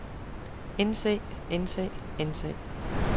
indse indse indse